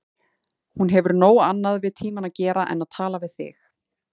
Hún hefur nóg annað við tímann að gera en tala við þig.